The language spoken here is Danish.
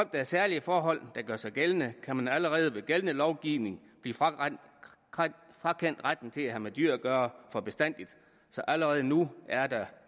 der er særlige forhold der gør sig gældende kan man allerede med den gældende lovgivning blive frakendt retten til at have med dyr at gøre for bestandig så allerede nu er der